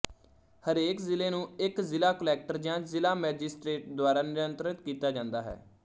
ਹਰੇਕ ਜ਼ਿਲ੍ਹੇ ਨੂੰ ਇੱਕ ਜ਼ਿਲ੍ਹਾ ਕੁਲੈਕਟਰ ਜਾਂ ਜ਼ਿਲ੍ਹਾ ਮੈਜਿਸਟਰੇਟ ਦੁਆਰਾ ਨਿਯੰਤਰਤ ਕੀਤਾ ਜਾਂਦਾ ਹੈ